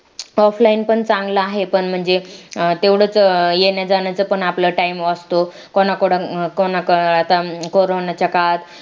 offline पण चांगला आहे पण म्हणजे तेवढेच येण्याजाण्याचा पण आपला time वाचतो कोणा~ कोणाकडून को~ कोरोनाच्या काळात